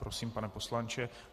Prosím, pane poslanče.